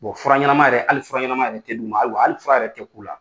fura ɲɛnama yɛrɛ, hali fura ɲɛnama yɛrɛ tɛ d'u ma, ayiwa hali fura yɛrɛ tɛ k'u la.